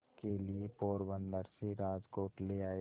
के लिए पोरबंदर से राजकोट ले आए